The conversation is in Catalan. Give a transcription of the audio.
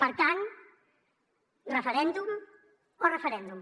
per tant referèndum o referèndum